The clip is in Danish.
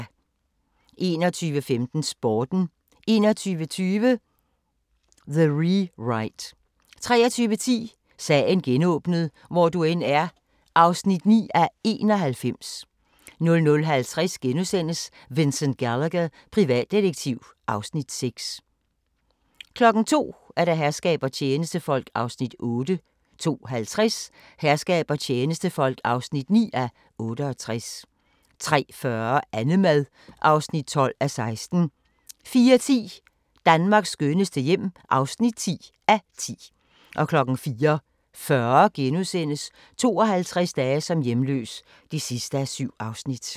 21:15: Sporten 21:20: The Rewrite 23:10: Sagen genåbnet: Hvor du end er (9:91) 00:50: Vincent Gallagher, privatdetektiv (Afs. 6)* 02:00: Herskab og tjenestefolk (8:68) 02:50: Herskab og tjenestefolk (9:68) 03:40: Annemad (12:16) 04:10: Danmarks skønneste hjem (10:10) 04:40: 52 dage som hjemløs (7:7)*